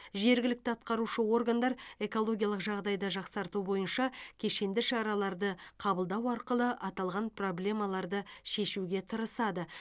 жергілікті атқарушы органдар экологиялық жағдайды жақсарту бойынша кешенді шараларды қабылдау арқылы аталған проблемаларды шешуге тырысады